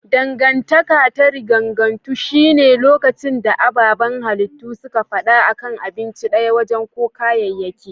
Dangantaka ta riganganto shi ne lokacin da ababan halittu suke fada a kan abinci daya, waje ko kayayyaki.